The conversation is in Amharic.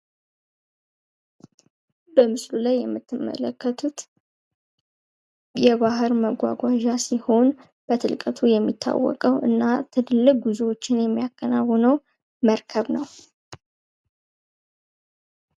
በምስሉ ላይ የምትመለከቱት የባህር መጓጉያ ሲሆን ርቀቱ የሚታወቀ እና ትልቅ ጉዞዎችን የሚያካሂደው መርከብ ነው።